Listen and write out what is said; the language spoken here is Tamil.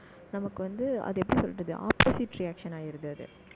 நமக்கு வந்து, அதை எப்படி சொல்றது opposite reaction ஆயிடுது, அது